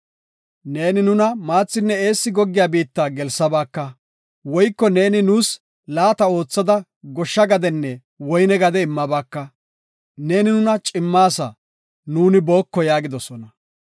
Neeni nuna maathinne eessi goggiya biitta gelsabaaka; woyko neeni nuus laata oothada goshsha gadenne woyne gade immabaaka; neeni nuna cimmaasa; nuuni booko” yaagidosona.